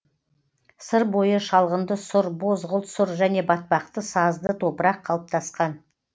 сыр бойы шалғынды сұр бозғылт сұр және батпақты сазды топырақ қалыптасқан